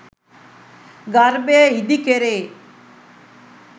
ගර්භය ඉදි කෙරේ.